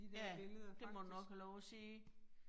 Ja, det må du nok have lov at sige